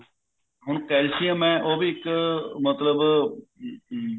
ਹੁਣ calcium ਹੈ ਉਹ ਵੀ ਇੱਕ ਮਤਲਬ